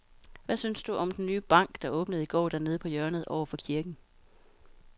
Hvad synes du om den nye bank, der åbnede i går dernede på hjørnet over for kirken?